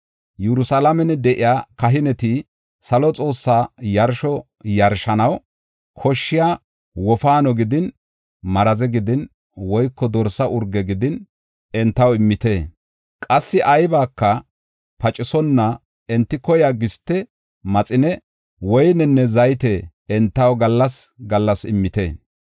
Yerusalaamen de7iya kahineti salo Xoossas xuussa yarsho yarshanaw koshshiya wofaano gidin, maraze gidin woyko dorsa urge gidin entaw immite. Qassi aybaka pacisonna enti koyiya giste, maxine, woynenne zayte entaw gallas gallas immite.